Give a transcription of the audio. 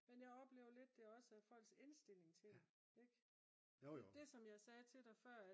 men jeg oplever lidt det også er folks indstilling til det ik det er det som jeg sagde til dig før